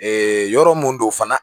yɔrɔ mun do fana